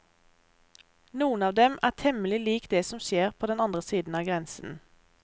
Noen av dem er temmelig lik det som skjer på andre siden av grensen.